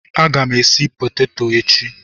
A ga m esi peteto echi.